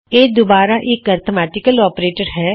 ਇਹ ਦੁਬਾਰਾ ਇੱਕ ਅਰਥਮੈਟਿਕਲ ਆਪਰੇਟਰ ਹੈ